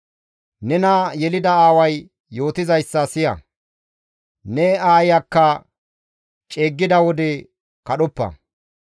Nena yelida aaway yootizayssa siya; ne aayiyakka ceeggida wode kadhoppa.